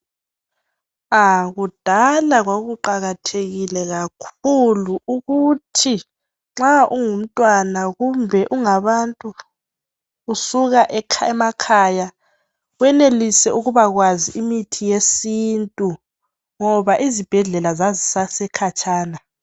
Ah kudala kwakuqakathekile kakhulu ukuthi nxa wawungumntwana kumbe ungabantu usuka emakhaya wenelise ukubakwazi imithi yesintu ngoba izibhedlrla zazisase khatshana.